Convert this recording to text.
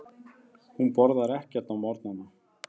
Hún borðar ekki á morgnana.